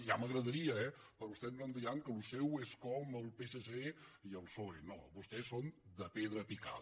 ja m’agradaria eh però vostès no em diran que això seu és com el psc i psoe no vostès són de pedra picada